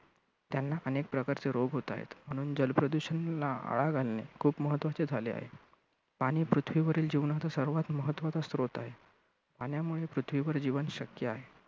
त्यांना अनेक प्रकारचे रोग होत आहेत. म्हणून जल प्रदूषणाला आळा घालणे खूप महत्त्वाचे झाले आहे. पाणी पृथ्वीवरील जीवनाचा सर्वात महत्त्वाचा स्रोत आहे. पाण्यामुळे पृथ्वीवर जीवन शक्य आहे.